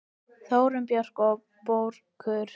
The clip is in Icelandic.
Þórunn Björk og Börkur.